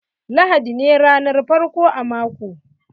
Lahadi ne ranar farko a mako.